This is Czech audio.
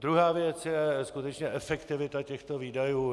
Druhá věc je skutečně efektivita těchto výdajů.